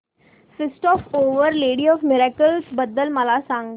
feast of our lady of miracles बद्दल मला सांगा